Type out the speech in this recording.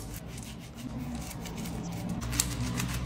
пополни счет из избранного